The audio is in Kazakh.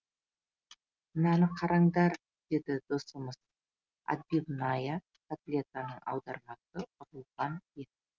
мынаны қараңдар деді досымыз отбивная котлетаның аудармасы ұрылған ет